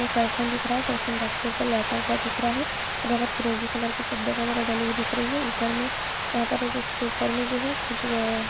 Person दिख रहा है। पर्सन बेड के ऊपर लेटा हुआ दिख रहा है फिरोजी कलर का चद्दर वगेरा डली हुई दिख रही है ऊपर में यहाँ पे